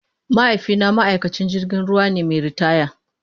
Mahaifina ma'aikacin jirgin ruwa ne mai ritaya.